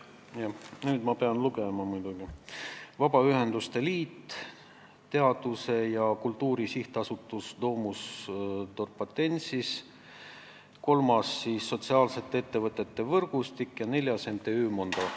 Jah, nüüd ma pean paberilt lugema muidugi: need on Vabaühenduste Liit, Teaduse ja Kultuuri Sihtasutus Domus Dorpatensis, MTÜ Sotsiaalsete Ettevõtete Võrgustik ja MTÜ Mondo.